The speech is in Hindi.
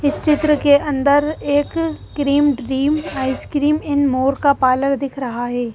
इस चित्र के अंदर एक cream dream ice cream n more का पार्लर दिख रहा है।